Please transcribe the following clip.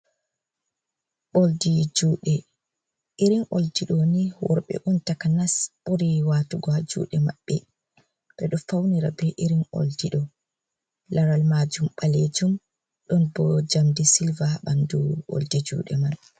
Oldi juuɗe irin oldiɗo ni worɓe on takanas buri watugo, juuɗe maɓɓe ɓeɗo faunira be irin oldido laral majum balejum, ɗon bo njamdi silva ɓandu oldi juuɗe man.